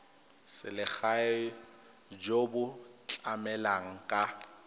selegae jo bo tlamelang ka